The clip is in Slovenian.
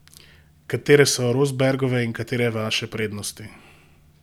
Katere so Rosbergove in katere vaše prednosti?